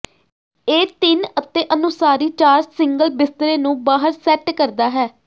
ਇਹ ਤਿੰਨ ਅਤੇ ਅਨੁਸਾਰੀ ਚਾਰ ਸਿੰਗਲ ਬਿਸਤਰੇ ਨੂੰ ਬਾਹਰ ਸੈੱਟ ਕਰਦਾ ਹੈ